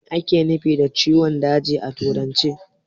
Me ake nufi da ciwon daji a turance?